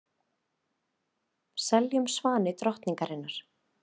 Seljum svani drottningarinnar